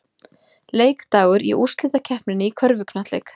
Leikdagar í úrslitakeppninni í körfuknattleik